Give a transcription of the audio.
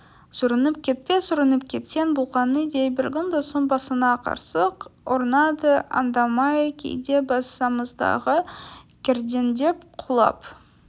сүрініп кетпе сүрініп кетсең болғаны дей бергін досым басыңа қырсық орнады аңдамай кейде басамыздағы кердеңдеп құлап